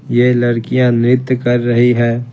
ये लड़कियां नृत्य कर रही है।